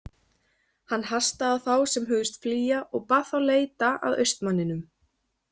Hann hastaði á þá sem hugðust flýja og bað þá leita að austmanninum.